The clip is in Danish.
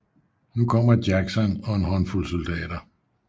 Nu kommer Jackson og en håndfuld soldater